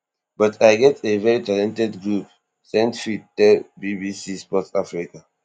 but i get a veri talented group saintfiet tell bbc sport africa